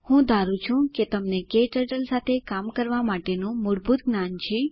હું ધારું છું કે તમને ક્ટર્ટલ સાથે કામ કરવા માટેનું મૂળભૂત જ્ઞાન છે